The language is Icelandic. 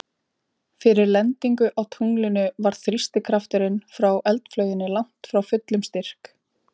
Fyrir lendingu á tunglinu var þrýstikrafturinn frá eldflauginni langt frá fullum styrk.